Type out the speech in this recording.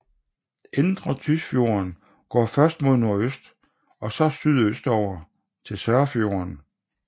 Indre Tysfjorden går først mod nordøst og så sydøstover til Sørfjorden